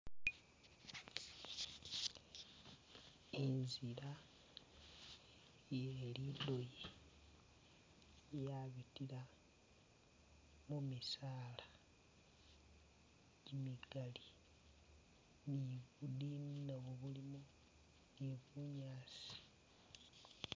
Inzila iye lidoyi yabitila mumisala jimigali ni’budini nabo bulimo bunyaasi .